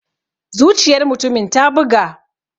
Zuciyar mutumin ta buga.